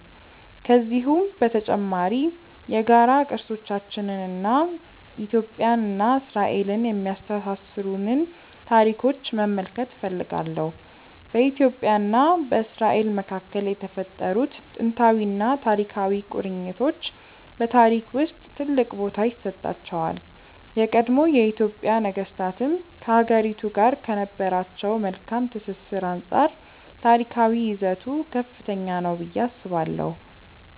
ከዚሁም በተጨማሪ የጋራ ቅርሶቻችንን እና ኢትዮጵያን እና እስራኤልን የሚያስተሳስሩንን ታሪኮች መመልከት እፈልጋለሁ። በኢትዮጵያ እና በእስራኤል መካከል የተፈጠሩት ጥንታዊና ታሪካዊ ቁርኝቶች በታሪክ ውስጥ ትልቅ ቦታ ይሰጣቸዋል። የቀድሞ የኢትዮጵያ ነገስታትም ከሀገሪቱ ጋር ከነበራቸው መልካም ትስስር አንፃር ታሪካዊ ይዘቱ ከፍተኛ ነው ብዬ አስባለሁ።